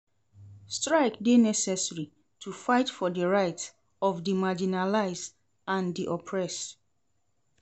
Strike dey necessary to fight for di rights of di marginalized and di oppressed.